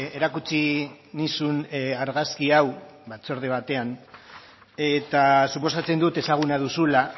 erakutsi nizun argazki hau batzorde batean eta suposatzen dut ezaguna duzula